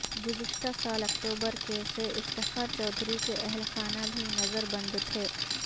گزشتہ سال اکتوبر کے سے افتخار چودھری کے اہلخانہ بھی نظر بند تھے